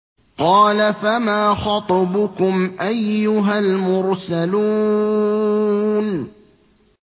۞ قَالَ فَمَا خَطْبُكُمْ أَيُّهَا الْمُرْسَلُونَ